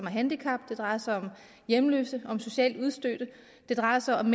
et handicap det drejer sig om hjemløse om socialt udstødte det drejer sig om